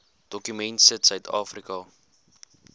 dokument sit suidafrika